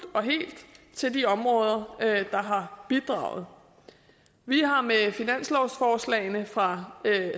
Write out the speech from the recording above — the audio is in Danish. og helt til de områder der har bidraget vi har med finanslovsforslagene fra